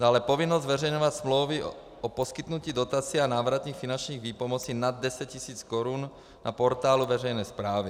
Dále povinnost zveřejňovat smlouvy o poskytnutí dotací a návratných finančních výpomocí nad 10 000 korun na portálu veřejné správy.